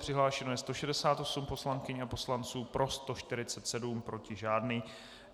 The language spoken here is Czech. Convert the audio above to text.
Přihlášeno je 168 poslankyň a poslanců, pro 147, proti žádný.